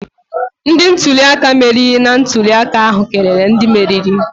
Ndị ntuli aka meriri na ntuli aka ahụ kelere ndị meriri